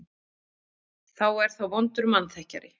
Þá er það vondur mannþekkjari.